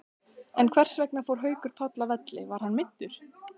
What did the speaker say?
En hversvegna fór Haukur Páll af velli, var hann meiddur?